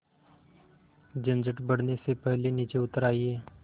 झंझट बढ़ने से पहले नीचे उतर आइए